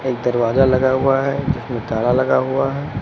एक दरवाजा लगा हुआ है जिसमें ताला लगा हुआ है।